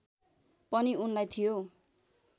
पनि उनलाई थियो